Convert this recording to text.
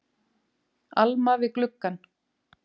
Alma við gluggann.